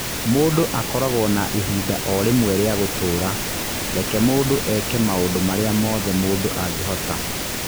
Mũndũ akoragwo na ihinda o rĩmwe rĩa gũtũra - reke mũndũ eke maũndũ marĩa mothe mũndũ angĩhota.